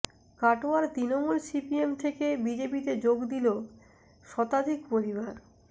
কাটোয়ার তৃণমূল সিপিএম থেকে বিজেপিতে যোগ দিল শতাধিক পরিবার